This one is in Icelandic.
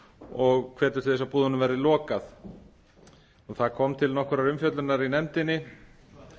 og hvetur til þess að búðunum verði lokað það kom til nokkurrar umfjöllunar í nefndinni